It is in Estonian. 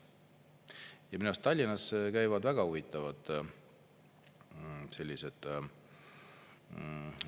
Ja minu arust Tallinnas käivad väga huvitavad sellised …